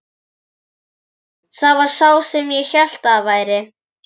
Jú, það var sá sem ég hélt að það væri!